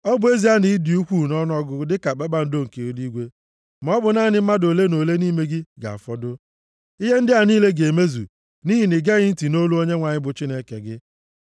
Ọ bụ ezie na ị dị ukwuu nʼọnụọgụgụ dịka kpakpando nke eluigwe, maọbụ naanị mmadụ ole na ole nʼime gị ga-afọdụ. Ihe ndị a niile ga-emezu nʼihi na i geghị ntị nʼolu Onyenwe anyị bụ Chineke gị.